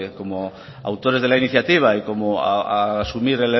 como autores de la iniciativa y asumir